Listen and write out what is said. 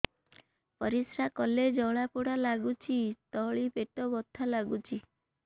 ପରିଶ୍ରା କଲେ ଜଳା ପୋଡା ଲାଗୁଚି ତଳି ପେଟ ବଥା ଲାଗୁଛି